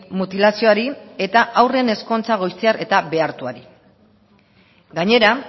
mutilazioari eta haurren ezkontza goiztiar eta behartuari gainera